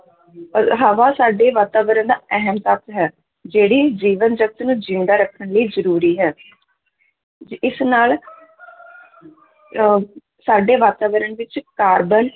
ਅਹ ਹਵਾ ਸਾਡੇ ਵਾਤਾਵਰਨ ਦਾ ਅਹਿਮ ਤੱਤ ਹੈ, ਜਿਹੜੀ ਜੀਵਨ ਜਗਤ ਨੂੰ ਜ਼ਿੰਦਾ ਰੱਖਣ ਲਈ ਜ਼ਰੂਰੀ ਹੈ ਜ ਇਸ ਨਾਲ ਅਹ ਸਾਡੇ ਵਾਤਾਵਰਨ ਵਿੱਚ ਕਾਰਬਨ